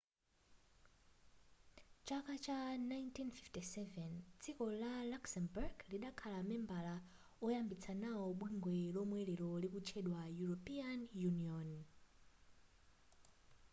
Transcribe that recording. mu chaka cha 1957 dziko la luxembourg lidakhala membala woyambitsa nawo bungwe lomwe lero likutchedwa european union